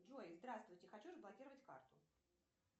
джой здравствуйте хочу заблокировать карту